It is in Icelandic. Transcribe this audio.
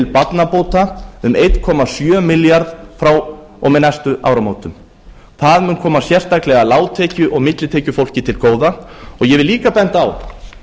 barnabóta um einn komma sjö milljarð frá og með næstu áramótum það mun koma sérstaklega lágtekju og millitekjufólki til góða ég vil líka benda á